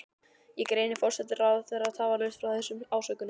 Ég greini forsætisráðherra tafarlaust frá þessum ásökunum.